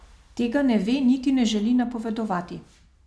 Tega ne ve, niti ne želi napovedovati.